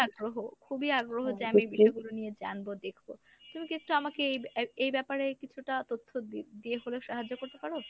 আগ্রহ খুবই আগ্রহ যে আমি বিষয়গুলো নিয়ে জানবো দেখবো। তুমি কী একটু আমাকে এই ইব~এ ব্যাপারে কিছুটা তথ্য দি~দিয়ে হলেও সাহায্য করতে পারো?